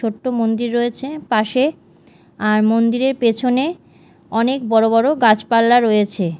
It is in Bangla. ছোট্ট মন্দির রয়েছে পাশে আর মন্দিরের পেছনে অনেক বড় বড় গাছপালা রয়েছে।